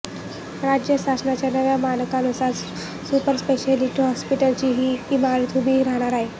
राज्य शासनाच्या नव्या मानकांनुसार सुपर स्पेशालिटी हॉस्पिटलची ही इमारत उभी राहणार आहे